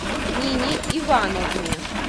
нине ивановне